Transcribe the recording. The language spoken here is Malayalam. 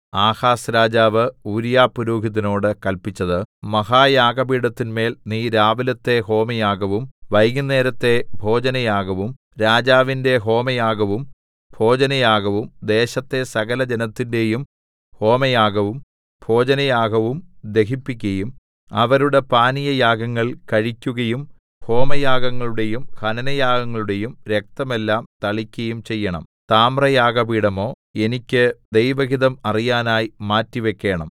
ആഹാസ് രാജാവ് ഊരീയാപുരോഹിതനോട് കല്പിച്ചത് മഹായാഗപീഠത്തിന്മേൽ നീ രാവിലത്തെ ഹോമയാഗവും വൈകുന്നേരത്തെ ഭോജനയാഗവും രാജാവിന്റെ ഹോമയാഗവും ഭോജനയാഗവും ദേശത്തെ സകലജനത്തിന്റെയും ഹോമയാഗവും ഭോജനയാഗവും ദഹിപ്പിക്കയും അവരുടെ പാനീയയാഗങ്ങൾ കഴിക്കുകയും ഹോമയാഗങ്ങളുടെയും ഹനനയാഗങ്ങളുടെയും രക്തമെല്ലാം തളിക്കയും ചെയ്യേണം താമ്രയാഗപീഠമോ എനിക്ക് ദൈവഹിതം അറിയാനായി മാറ്റിവക്കേണം